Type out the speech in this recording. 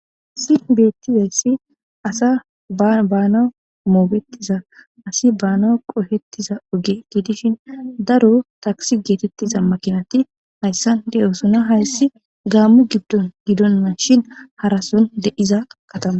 Hayssan bettizayti asi bana bana mogetiza asi baana qoppetuza oge gidishshin daro takise getetiza makinati deyossona harasson deiza haayssi gamo gidon shshin haarson deiza katama